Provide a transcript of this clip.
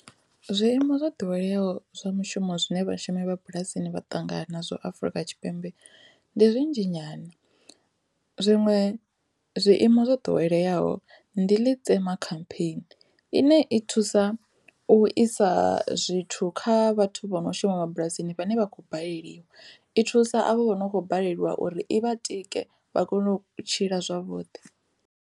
Zwiimo zwo ḓoweleaho zwa mushumo zwine vhashumi vha bulasini vhaṱangana zwo Afrika Tshipembe ndi zwinzhi nyana zwiṅwe zwiimo zwo ḓoweleaho ndi Letsema khampheeni ine i thusa u isa zwithu kha vhathu vho no shuma mabulasini vhane vha khou baleliwa, i thusa avho vho no kho baleliwa uri i vha tike vha kone u tshila zwavhuḓi.